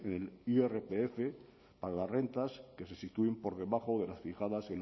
en el irpf para las rentas que se sitúen por debajo de las fijadas